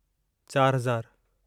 चार हज़ारु